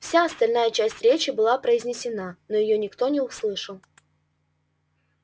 вся остальная часть речи была произнесена но её никто не услышал